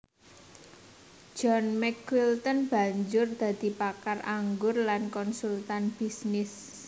John McQuilten banjur dadi pakar anggur lan konsultan bisnis